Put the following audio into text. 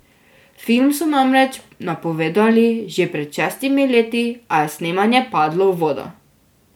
Film so namreč napovedovali že pred šestimi leti, a je snemanje padlo v vodo.